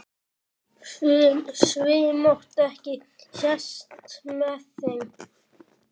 Svipmót ekki sést með þeim.